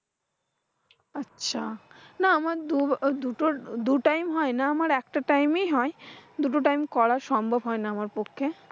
আচ্ছা, না আমার দূর দুটোর দু time হয়না আমার একটা time হয়। দুটো time করা সম্ভব হয় না আমার পক্ষে।